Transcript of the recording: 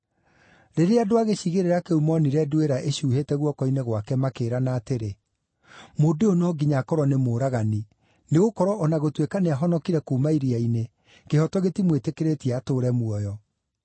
Rĩrĩa andũ a gĩcigĩrĩra kĩu moonire nduĩra ĩcuuhĩte guoko-inĩ gwake makĩĩrana atĩrĩ, “Mũndũ ũyũ no nginya akorwo nĩ mũũragani, nĩgũkorwo o na gũtuĩka nĩahonokire kuuma iria-inĩ, kĩhooto gĩtimwĩtĩkĩrĩtie atũũre muoyo.”